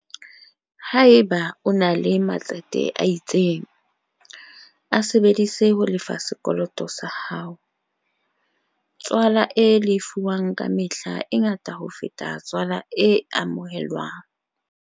Haeba o ena le matsete a itseng, a sebedise ho lefa sekoloto sa hao - tswala e lefuwang ka mehla e ngata ho feta tswala e amohelwang.